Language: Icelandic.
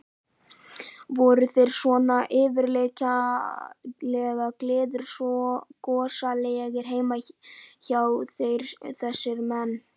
Voru þeir svona yfirgengilega gleiðgosalegir heima hjá sér þessir menn?